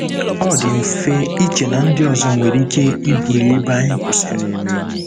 Ọ dị mfe iche na ndị ọzọ nwere ike ibuli ebe anyị kwụsịrị.